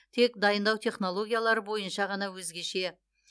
тек дайындау технологиялары бойынша ғана өзгеше